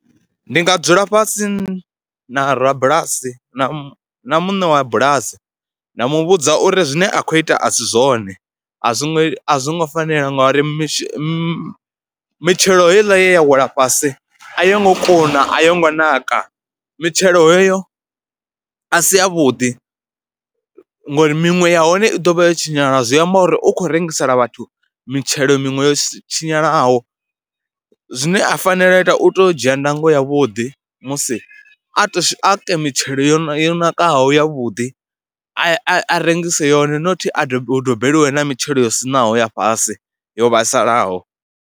Ndi nga dzula fhasi na rabulasi na muṋe wa bulasi nda mu vhudza uri zwine a khou ita a si zwone a zwi ngo, a zwo ngo fanela ngauri mi mi mitshelo heiḽa ye ya wela fhasi a yo ngo kuna, a yo ngo naka. Mitshelo heyo a si yavhuḓi ngori miṅwe ya hone i ḓo vha yo tshinyala, zwi amba uri u khou rengisela vhathu mitshelo miṅwe yo si tshinyalaho, zwine a fanela u ita u tea u dzhia ndango yavhuḓi musi, a to, a ke mitshelo yo yo nakaho yavhuḓi a a rengise yone not hu dobeliwe na mitshelo yo siṋaho ya fhasi yo vhaisalaho.